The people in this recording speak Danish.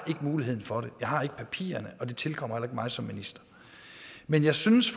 muligheden for det jeg har ikke papirerne og det tilkommer heller ikke mig som minister men jeg synes